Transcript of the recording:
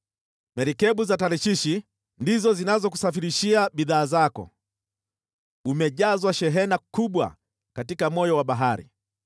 “ ‘Merikebu za Tarshishi ndizo zinazokusafirishia bidhaa zako. Umejazwa shehena kubwa katika moyo wa bahari.